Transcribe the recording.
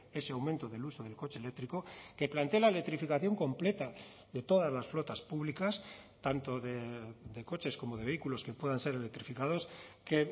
ese aumento del uso del coche eléctrico que plantee la electrificación completa de todas las flotas públicas tanto de coches como de vehículos que puedan ser electrificados que